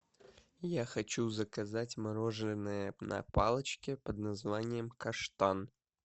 я хочу заказать мороженое на палочке под названием каштан